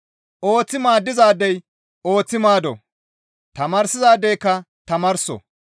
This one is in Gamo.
Ooththi maaddizaadey ooththi maaddo; tamaarsizaadeyka tamaarso.